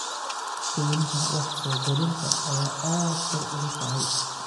Qiimaha wax-soo-gelinta ayaa aad kor ugu kacay.